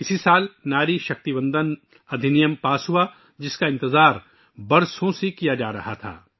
اسی سال 'Nari Shakti Vandan act' pass ہوا، جس کا برسوں سے انتظار تھا